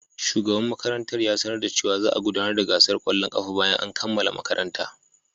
Shugaban makarantar ya sanar da cewa za a gudanar da gasar kwallon kafa bayan an kammala makaranta.